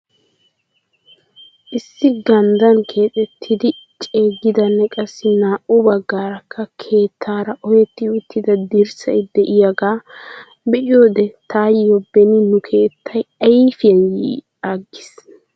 Issi ganddaan keexxettidi ceegidanne qassi naa'u baggaarakka keettaara ohetti uttida dirssay diyagaa be'iyoode taayo beni nu keettay ayfiyan yi aggiis.